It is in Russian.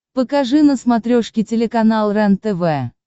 покажи на смотрешке телеканал рентв